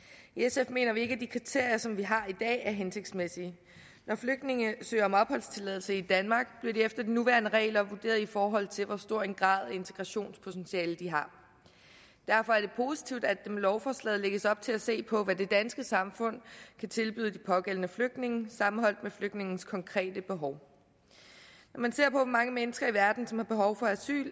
i sf mener vi ikke at de kriterier som vi har i dag er hensigtsmæssige når flygtninge søger om opholdstilladelse i danmark bliver de efter de nuværende regler vurderet i forhold til hvor stor en grad af integrationspotentiale de har derfor er det positivt at med lovforslaget lægges op til at se på hvad det danske samfund kan tilbyde de pågældende flygtninge sammenholdt med flygtningens konkrete behov når man ser på hvor mange mennesker i verden som har behov for asyl